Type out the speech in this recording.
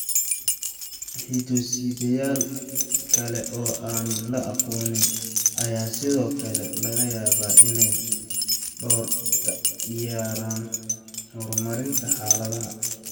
Hido-sideyaal kale oo aan la aqoonsan ayaa sidoo kale laga yaabaa inay door ka ciyaaraan horumarinta xaaladda.